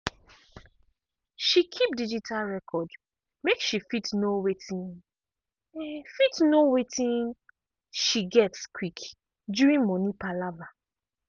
she keep digital record make she fit know wetin fit know wetin she get quick during money palava.